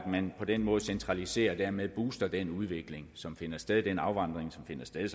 man på den måde centraliserer og dermed booster den udvikling som finder sted den afvandring som finder sted